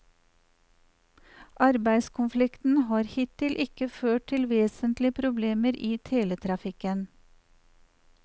Arbeidskonflikten har hittil ikke ført til vesentlige problemer i teletrafikken.